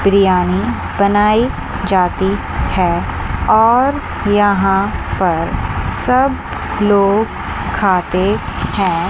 बिरयानी बनाई जाती है और यहां पर सब लोग कहते हैं।